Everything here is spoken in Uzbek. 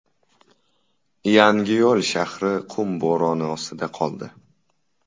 Yangiyo‘l shahri qum bo‘roni ostida qoldi.